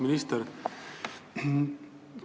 Auväärt minister!